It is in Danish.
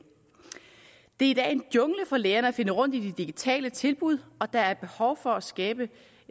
det er i dag en jungle for lærerne at finde rundt i de digitale tilbud og der er behov for at skabe